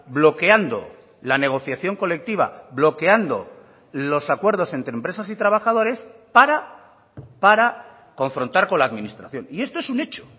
bloqueando la negociación colectiva bloqueando los acuerdos entre empresas y trabajadores para para confrontar con la administración y esto es un hecho